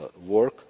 work.